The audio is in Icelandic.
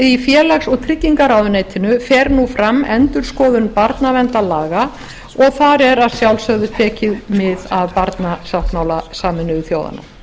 í félags og tryggingaráðuneytinu fer nú fram endurskoðun barnaverndarlaga og þar er að sjálfsögðu tekið mið af barnasáttmála sameinuðu þjóðanna